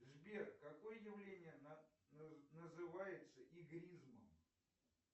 сбер какое явление называется игризмом